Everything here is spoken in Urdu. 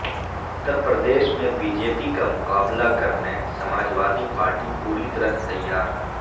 اترپردیش میں بی جے پی کا مقابلہ کرنے سماج وادی پارٹی پوری طرح تیار